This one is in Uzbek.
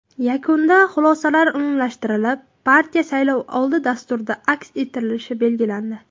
Yakunda xulosalar umumlashtirilib, partiya saylovoldi dasturida aks ettirilishi belgilandi.